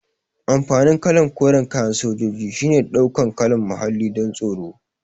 Amfanin kalan koran kayan sojoji shine ya ɗau kalan muhalli don tsaro